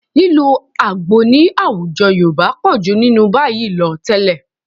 Lílo àgbo ní àwùjọ Yorùbá pọ̀ jù nínú báyìí lọ tẹ́lẹ̀